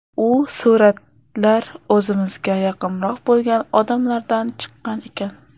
U suratlar o‘zimizga yaqinroq bo‘lgan odamlardan chiqqan ekan.